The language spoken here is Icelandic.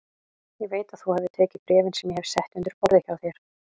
Ég veit að þú hefur tekið bréfin sem ég hef sett undir borðið hjá þér